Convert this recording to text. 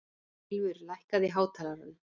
Ylfur, lækkaðu í hátalaranum.